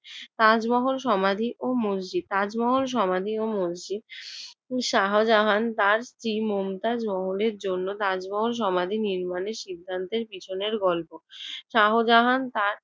তাজমহল সমাধি ও মসজিদ। তাজমহল সমাধি ও মসজিদ। শাহজাহান তার স্ত্রী মমতাজ মহলের জন্য তাজমহল সমাধি নির্মাণের সিদ্ধান্তের পিছনের গল্প। শাহজাহান তার